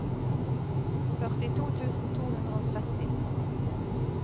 førtito tusen to hundre og tretti